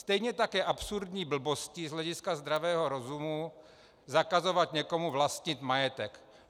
Stejně tak je absurdní blbostí z hlediska zdravého rozumu zakazovat někomu vlastnit majetek.